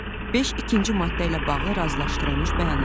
5 ikinci maddə ilə bağlı razılaşdırılmış bəyanat.